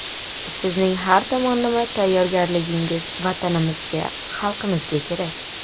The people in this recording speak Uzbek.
Sizning har tomonlama tayyorgarligingiz Vatanimizga, xalqimizga kerak.